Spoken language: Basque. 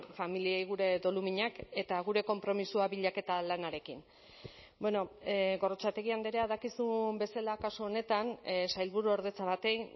familiei gure doluminak eta gure konpromisoa bilaketa lanarekin bueno gorrotxategi andrea dakizun bezala kasu honetan sailburuordetza bati